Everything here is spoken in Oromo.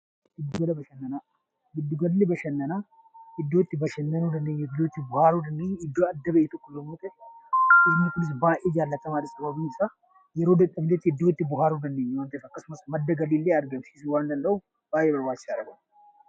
Gidduu galli bashannanaa iddoo itti bashannanuu dandeenyuu fi bakka baay'ee jaallatamaadha sababiin isaa yeroo dadhabnetti iddoo itti bohaaruu dandeenyu akkasumas madda galii illee argamsiisuu danda'uuf baay'ee barbaachisaadha.